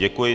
Děkuji.